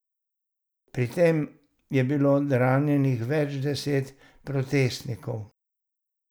Pri tem je bilo ranjenih več deset protestnikov.